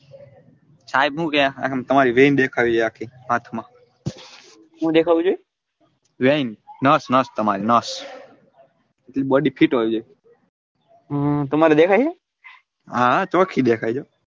સાહેબ હું કે તમારી વૈન દેખાવી જોઈએ આખી હાથ મા હું દેખવીં જોઈએ વૈન નસ નસ તમારી નસ એટલી બોડી ફિટ હોવી જોઈએ હમ તમારે દેખાય એ હા હા ચોખી દેખાય જો.